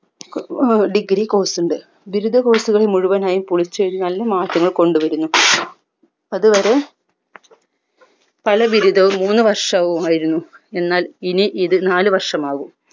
ഏർ degree course ഉണ്ട് ബിരുദ course കൾ മുഴുവനായും പൊളിചെഴുതി നല്ല മാറ്റങ്ങൾ കൊണ്ടുവരുന്നു അതുവരെ പല ബിരുദവും മൂന്ന് വർഷവുമായിരുന്നു എന്നാൽ ഇത് നാല് വർഷമാകും